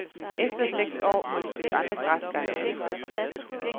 Efter seks år må de søge andre græsgange.